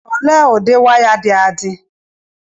ole ụdị waya dị adị